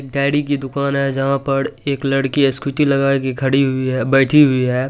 Daddy की दुकान है जहाँ पर एक लड़की स्कूटी लगा कै खड़ी हुई है बैठी हुई है।